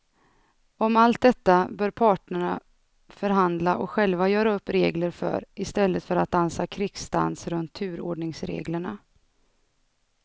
Om allt detta bör parterna förhandla och själva göra upp regler för i stället för att dansa krigsdans runt turordningsreglerna.